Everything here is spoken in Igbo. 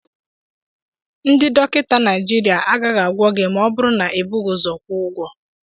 Ndị dọkịta Naijiria agaghị agwọ gi ma ọ bụrụ na i bughi ụzọ kwụọ ụgwọ